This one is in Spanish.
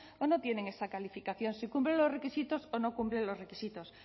o no tienen esta calificación si cumplen los requisitos o no cumplen los requisitos